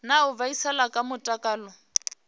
na u vhaisala kha mutakalo